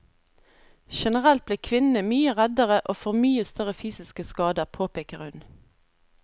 Generelt blir kvinnene mye reddere og får mye større fysiske skader, påpeker hun.